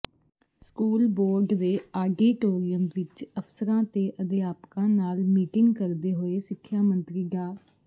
school board ਦੇ auditorium ਵਿੱਚ ਅਫ਼ਸਰਾਂ ਤੇ ਅਧਿਆਪਕਾਂ ਨਾਲ ਮੀਟਿੰਗ ਕਰਦੇ ਹੋਏ ਸਿੱਖਿਆ ਮੰਤਰੀ ਡਾ